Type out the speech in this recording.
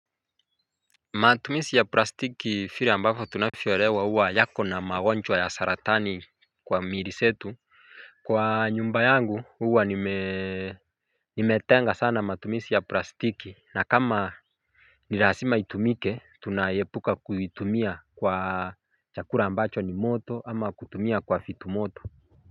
Matumizi ya plastiki vile ambavyo tunavyoelewa huwa yakona magonjwa ya saratani kwa miili zetu kwa nyumba yangu huwa nime nimetenga sana matumizi ya plastiki na kama nilazima itumike tunaepuka kuitumia kwa chakula ambacho ni moto ama kutumia kwa vitu moto. Kwa hivyo.